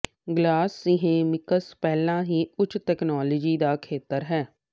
glass ceramics ਪਹਿਲਾਂ ਹੀ ਉੱਚ ਤਕਨਾਲੋਜੀ ਦਾ ਖੇਤਰ ਹੈ